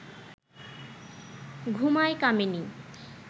ঘুমায় কামিনী